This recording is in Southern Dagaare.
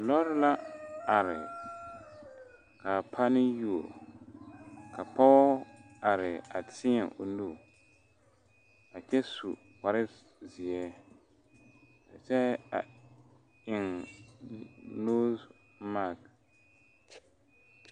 Lɔre la are kaa pane yuo ka pɔge are a teɛ o nu a kyɛ su kpare ziɛ a kyɛ eŋ nose makyi.